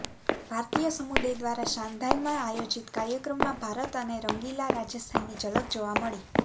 ભારતીય સમુદાય દ્વારા શાંધાઇમાં આયોજીત કાર્યક્રમમાં ભારત અને રંગીલા રાજસ્થાનની ઝલક જોવા મળી